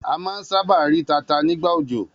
A má a ń sábà rí tata nígbà òjò.